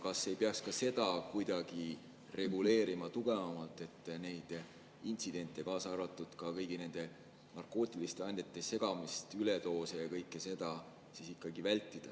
Kas ei peaks seda kuidagi tugevamalt reguleerima, et vältida neid intsidente, kaasa arvatud kõigi nende narkootiliste ainete segamist, üledoose ja kõike seda?